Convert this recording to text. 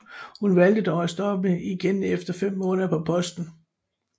Hun valgte dog at stoppe igen efter 5 måneder på posten